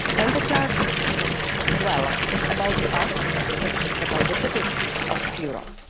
online. The targets well, it's about us, it's about the citizens